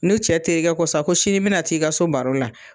N'u cɛ terikɛ ko sa ko sini mi na t'i ka so baro la